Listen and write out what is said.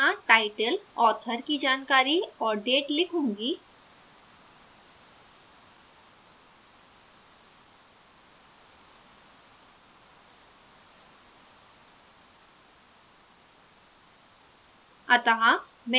मैं निम्न की तरह title author की जानकारी और date लिखूँगी